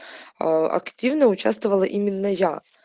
аа активно участвовала именно я